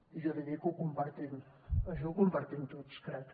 i jo li dic que ho compartim això ho compartim tots crec